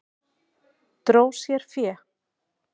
Dró sér fé